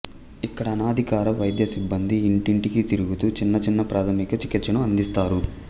ఇక్కడ అనధికార వైద్య సిబ్బంది ఇంటింటికి తిరుగుతూ చిన్న చిన్న ప్రాథమిక చికిత్సను అందిస్తారు